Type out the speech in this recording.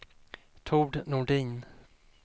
Tord Nordin